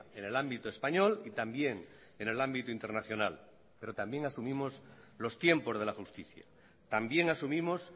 en el ámbito español y también en el ámbito internacional pero también asumimos los tiempos de la justicia también asumimos